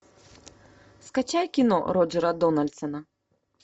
скачай кино роджера дональдсона